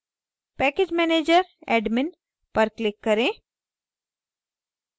package manager admin पर click करें